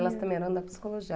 Elas também eram da psicologia.